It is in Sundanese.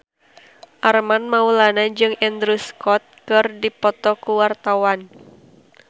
Armand Maulana jeung Andrew Scott keur dipoto ku wartawan